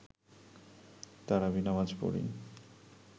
তারাবি নামাজ পড়ি